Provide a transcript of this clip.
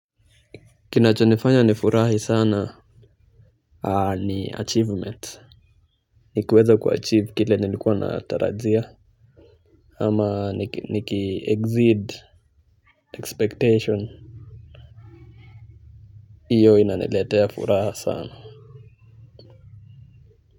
Kinachonifanya nifurahi sana ni achievement. Nikiweza kuachieve kile nilikuwa natarajia ama nikiexceed expectation hiyo inaniletea furaha sana.